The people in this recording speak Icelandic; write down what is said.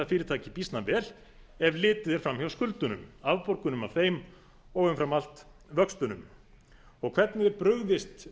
fyrirtæki býsna vel ef litið er fram hjá skuldunum afborgunum af þeim og umfram allt vöxtunum hvernig er brugðist